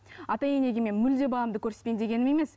ата енеге мен мүлде баламды көрсетпеймін дегенім емес